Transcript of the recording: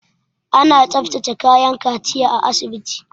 Ana tsaftace kayan kaciya a asibiti.